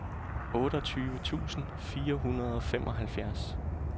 otteogtyve tusind fire hundrede og femoghalvfjerds